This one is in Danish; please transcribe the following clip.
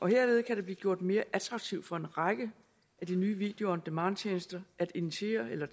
herved kan det blive gjort mere attraktivt for en række af de nye video on demand tjenester at initiere eller